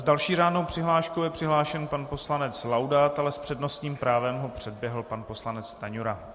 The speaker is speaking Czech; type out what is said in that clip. S další řádnou přihláškou je přihlášen pan poslanec Laudát, ale s přednostním právem ho předběhl pan poslanec Stanjura.